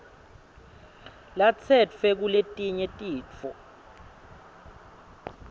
latsetfwe kuletinye titfo